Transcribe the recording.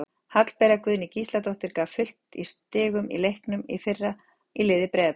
Hallbera Guðný Gísladóttir gaf fullt af stigum í leiknum í fyrra í liði Breiðabliks.